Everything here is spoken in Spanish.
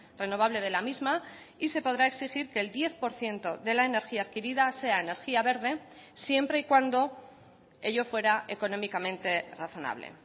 renovable de la misma y se podrá exigir que el diez por ciento de la energía adquirida sea energía verde siempre y cuando ello fuera económicamente razonable